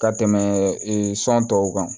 Ka tɛmɛ sɔn tɔw kan